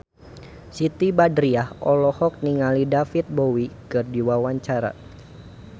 Siti Badriah olohok ningali David Bowie keur diwawancara